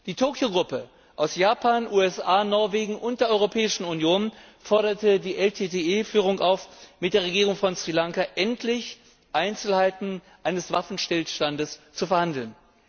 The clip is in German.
Die Tokio Gruppe, bestehend aus Japan, USA, Norwegen und der Europäischen Union, forderte die LTTE Führung auf, mit der Regierung von Sri Lanka endlich über Einzelheiten eines Waffenstillstandes zu verhandeln.